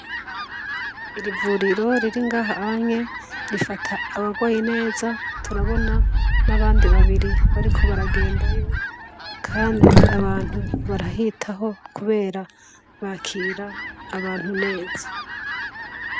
Irivuriro riri ngahahanye rifata abarwayi neza turabona nabandi babiri bariko baragendayo kandi abantu barahitaho kubera bakira abantu neza